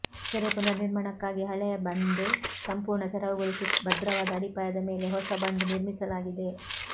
ಕೆರೆ ಪುನರ್ ನಿರ್ಮಾಣಕ್ಕಾಗಿ ಹಳೆಯ ಬಂಡ್ ಸಂಪೂರ್ಣ ತೆರವು ಗೊಳಿಸಿ ಭದ್ರವಾದ ಅಡಿಪಾಯದ ಮೇಲೆ ಹೊಸ ಬಂಡ್ ನಿರ್ಮಿಸಲಾಗಿದೆ